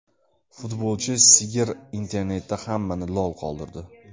Futbolchi sigir internetda hammani lol qoldirdi .